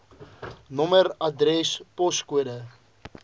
nommer adres poskode